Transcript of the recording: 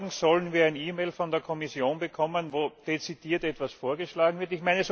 Morgen sollen wir eine E Mail von der Kommission bekommen, in der dezidiert etwas vorgeschlagen wird.